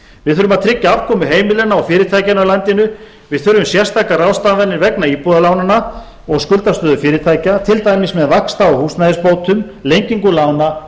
við þurfum að tryggja afkomu heimilanna og fyrirtækjanna í landinu við þurfum sérstakar ráðstafanir vegna íbúðarlánanna og skuldastöðu fyrirtækja til dæmis með vaxta og húsnæðisbótum lengingu lána